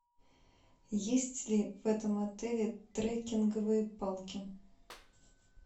есть ли в этом отеле трекинговые палки